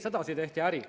Sedasi tehti äri.